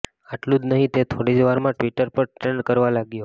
આટલું જ નહીં તે થોડી જ વારમાં ટ્વીટર પર ટ્રેન્ડ કરવા લાગ્યો